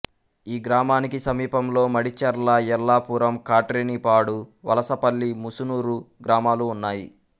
ఈ గ్రామానికి సమీపంలో మడిచెర్ల యెల్లాపురం కాట్రేనిపాడు వలసపల్లి ముసునూరు గ్రామాలు ఉన్నాయి